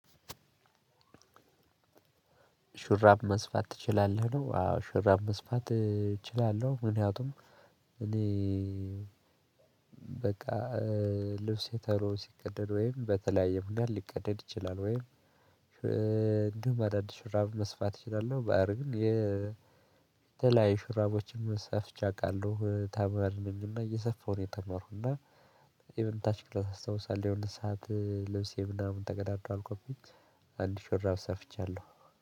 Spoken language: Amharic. ሹራብ መስፋት ትችላለህ ነው አዎ ሹራብ መስፋት እችላለሁ ምክንያቱም እኔ በቃ ልብስ የተሮ ሲቀደድ ወይም በተለያዩ ምናምን ሊቀደድ ይችላል ወይም እንደሁም አዳዲስ ሹራብ መስፋት እችላለሁ። ባአር ግን የተለያዩ ሹራቦችን ሰፍቼ አቃለሁ ታምናለችና እየሰፋሁ ነው። የተመረኩትና እና የምንታች ቅልም ሳስታውሳለሁ የሆነ ሰዓት ለብሴ ምናምን ተገዳዷል አልኩኝ። አንድ ሽራብ ሰፍቻለሁ